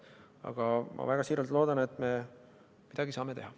Aga ma siiralt loodan, et me saame midagi teha.